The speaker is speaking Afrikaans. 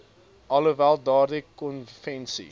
alhoewel daardie konvensie